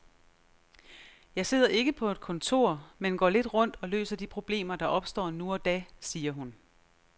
Jeg sidder ikke på et kontor, men går lidt rundt og løser de problemer, der opstår nu og da, siger hun.